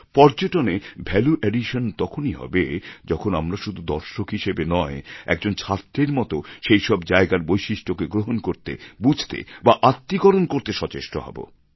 পর্যটনে value addition তখনই হবে যখন আমরা শুধু দর্শক হিসেবে নয় একজন ছাত্রের মতো সেই সব জায়গার বৈশিষ্ট্যকে গ্রহণ করতে বুঝতে এবং আত্মীকরণ করতে সচেষ্ট হব